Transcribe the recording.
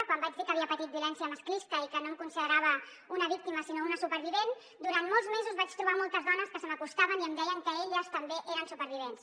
quan vaig dir que havia patit violència masclista i que no em considerava una víctima sinó una supervivent durant molts mesos vaig trobar moltes dones que se m’acostaven i em deien que elles també eren supervivents